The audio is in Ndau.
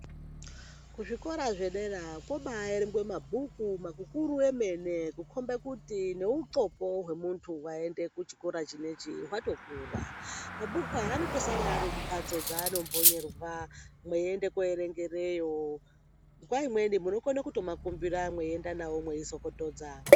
Ku zvikora zvedera kobai erengwe mabhuku maku kuru emene ku kombe kuti ne undxoko hwe muntu hwaenda ku chikora chinechi hwato kura mabhuku aya anoto sara ari mu mbatso dzano mbonyerwa meyi ende ko erengereyo nguva imweni muno kona kuto kumbira meyi enda nawo mweizo petudza.